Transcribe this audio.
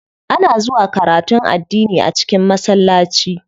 Ana zuwa karatun addini a cikin masallaci.